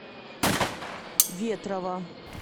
ветрова